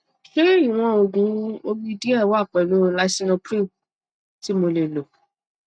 ṣé ìwọn òògùn omi díẹ wà pẹlú lisinopril tí mo lè lò